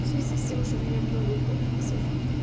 в связи с тем что у меня много комплексов